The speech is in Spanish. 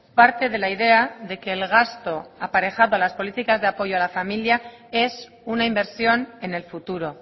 parte de la idea de que el gasto aparejado a las políticas de apoyo a la familia es una inversión en el futuro